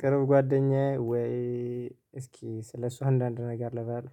ቅርብ ጓደኛዬ ወይ እስኪ ስለሱ አንዳንድ ነገር ልበል